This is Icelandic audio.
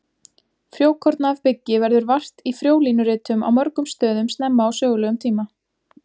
Frjókorna af byggi verður vart í frjólínuritum á mörgum stöðum snemma á sögulegum tíma.